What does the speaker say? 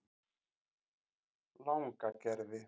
Langagerði